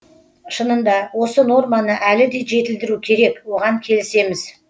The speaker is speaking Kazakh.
шынында осы норманы әлі де жетілдіру керек оған келісеміз